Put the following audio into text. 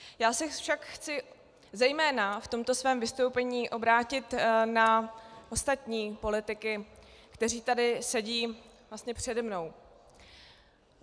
Já se však chci zejména v tomto svém vystoupení obrátit na ostatní politiky, kteří tady sedí přede mnou.